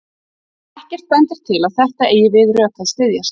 Ekkert bendir til að þetta eigi við rök að styðjast.